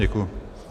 Děkuji.